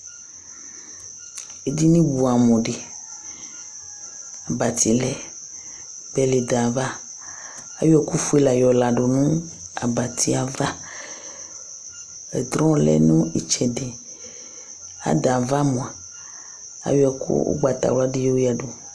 Ɛdiní bʋɛ amu di Abati lɛ bɛli du ayʋ ava Ayɔ ɛku fʋe la yɔ ladu nʋ abati ava Ɛdrɔ lɛ nʋ itsɛdi Ada yɛ ava mʋa, ayɔ ɛku ugbatawla di yadu